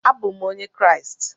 Abụ m Onye Kraịst.